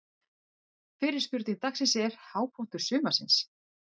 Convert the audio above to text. Fyrri spurning dagsins er: Hápunktur sumarsins?